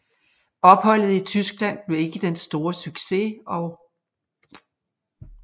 Opholdet i Tyskland blev ikke den store succes og 1